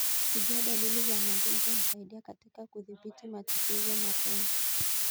Kujua dalili za magonjwa husaidia katika kudhibiti matatizo mapema.